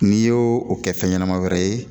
N'i y'o o kɛ fɛn ɲɛnama wɛrɛ ye